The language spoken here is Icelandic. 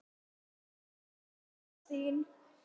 Hann saknar þín.